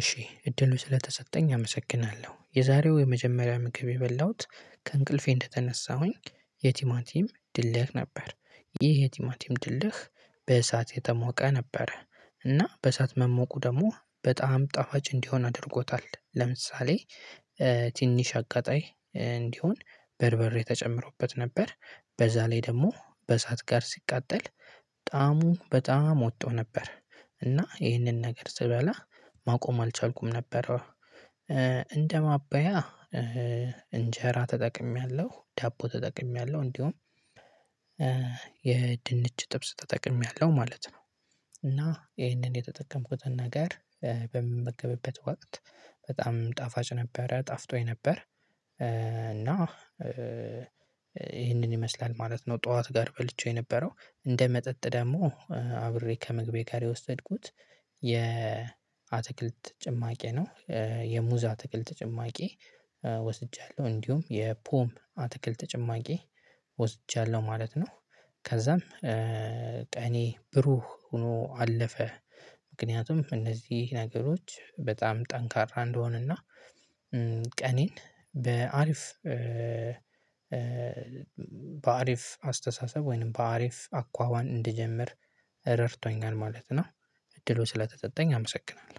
እሺ እድሉ ስለተሰጠኝ አመሰግናለሁ የዛሬው የመጀመሪያ ምግብ የበላሁት ከእንቅልፌ እንደተነሳሁኝ። የቲማቲም ድልህ ነበር። ይህ የቲማቲም ድልህ በእሳት የተሞቀ ነበረ። እና በእሳት መሞቁ ደግሞ በጣም ጣፋጭ እንዲሆን አድርጎታል። ለምሳሌ ትንሽ አቃጣይ እንዲሆን በርበሬ ተጨምሮበት ነበር። በዛ ላይ ደግሞ በእሳት ጋር ሲቃጠል ጣዕሙ በጣም ወጥቶ ነበር። እና ይህንን ነገር ስበላ ማቆም አልቻልኩም ነበረ። ማበያ እንጀራ ተጠቅሜያለሁ ዳቦ ተጠቅሜያለሁ እንዲሁም የድንች ጥብስ ተጠቅሜያለሁ ማለት ነው። እና ይሄንን የተጠቀምኩትን ነገር በምመገብበት ወቅት በጣም ጣፋጭ ነበር ጣፍጦኝ ነበር። እና ይሄንን ይመስላል ማለት ነው። ጠዋት ጋር በልቼው የነበረው እንደ መጠጥ ደግሞ አብሬ ከምግቤ ጋር የወሰድኩት የአትክልት ጭማቂ ነው። የሙዛ አትክልት ጭማቂ ወስጃለሁ እንዲሁም የፖም አትክልት ጭማቂ ወስጃለሁ ማለት ነው። ከዛም ቀኔ ብሩህ ሆኖ አለፈ። ምክንያቱም እነዚህ ነገሮች በጣም ጠንካራ እንድሆን እና ቀኔን በአሪፍ በአሪፍ አስተሳሰብ ወይንም በአሪፍ አኳኋን እንድጀምር ረድቶኛል ማለት ነው። እድሉ ስለተሰጠኝ አመሰግናለሁ